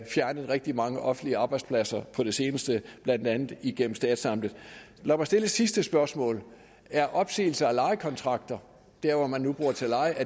fjernet rigtig mange offentlige arbejdspladser på det seneste blandt andet igennem statsamtet jeg vil stille et sidste spørgsmål er opsigelse af lejekontrakter der hvor man nu bor til leje